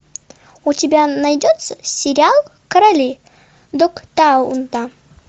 у тебя найдется сериал короли догтауна